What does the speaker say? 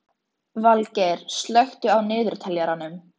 Vilgeir, slökktu á niðurteljaranum.